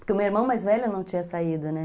Porque o meu irmão mais velho não tinha saído, né?